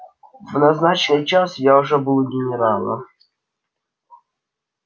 в назначенный час я уже был у генерала